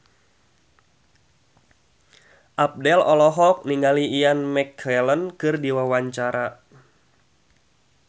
Abdel olohok ningali Ian McKellen keur diwawancara